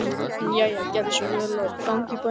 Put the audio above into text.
En jæja, gerðu svo vel að ganga í bæinn.